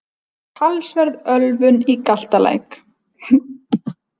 Talsverð ölvun í Galtalæk